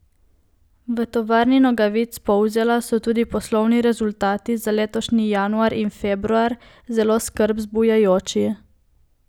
V Tovarni nogavic Polzela so tudi poslovni rezultati za letošnji januar in februar zelo skrb zbujajoči.